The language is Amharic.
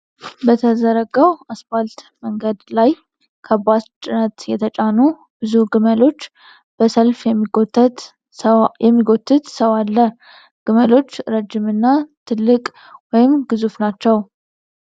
በተዘረጋው አስፋልት መንገድ ላይ ከባድ ጭነት የተጫኑ በዙ ግመሎች በሰልፍ የሚጎትት ሰው አለ። ግመሎች ረጅም እና ትልቅ ወይም ግዙፍ ናችው፡፡